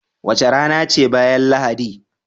Wace rana ce bayan Lahadi?